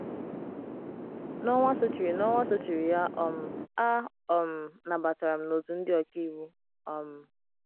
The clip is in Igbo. N’ọnwa sochiri N’ọnwa sochiri ya, um a um nabatara m n’òtù ndị ọkàiwu. um